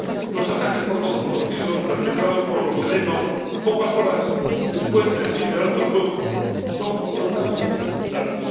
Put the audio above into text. Los ataques por todos conocidos, perpetrados por los elenos pocas horas después del fin del alto el fuego, son totalmente inaceptables.